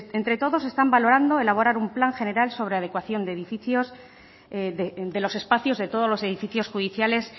entre todos están valorando elaborar un plan general sobre adecuación de edificios de los espacios de todos los edificios judiciales